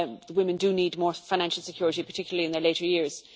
Women do need more financial security, particularly in their later years.